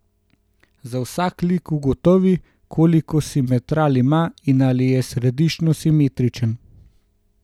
Za vsak lik ugotovi, koliko simetral ima in ali je središčno simetričen.